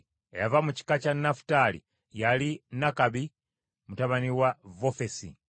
Eyava mu kika kya Nafutaali yali Nakabi mutabani wa Vofesi.